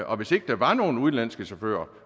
og hvis ikke der var nogen udenlandske chauffører